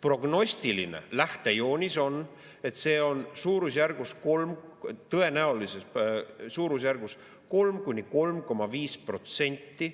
Prognostiline lähtejoonis on, et see on tõenäoliselt suurusjärgus 3–3,5%